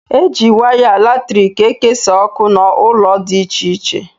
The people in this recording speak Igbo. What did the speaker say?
Eji waya latriki ekesa ọkụ n' ụlọ dị ịche ịche